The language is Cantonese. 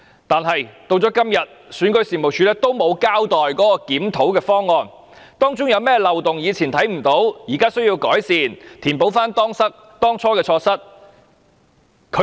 但是，選舉事務處至今仍沒有交代檢討方案，以及當中有何漏洞是過去未能察覺的，現在需要改善，以填補當初的錯失。